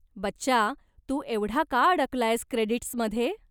बच्चा, तू एवढा का अडकलायेस क्रेडिट्समध्ये?